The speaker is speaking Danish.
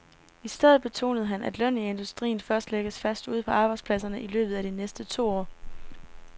I stedet betonede han, at lønnen i industrien først lægges fast ude på arbejdspladserne i løbet af de næste to år.